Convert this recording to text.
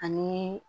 Ani